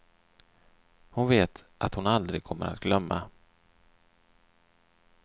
Hon vet att hon aldrig kommer att glömma.